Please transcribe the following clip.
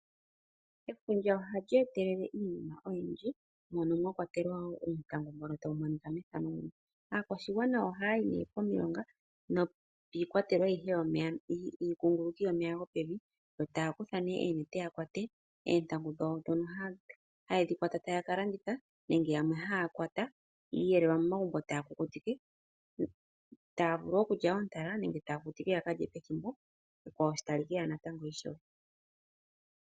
Efundja ohali etelele iinima oyindji mono mwakwatelwa oontangu, aakwashigwana ohaayi komilonga nokiikwatelwa ayihe yiikunguluki yomeya go pevi yo taakutha née oonete opo yakwate oontangu dhokukalanditha nenge oontangu dhokukeelela momagumbo hadhi liwa oontalala nenge oonkunkutu.